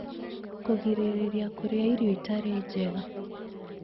Kũgirĩrĩria Kũrĩa Irio Itarĩ njega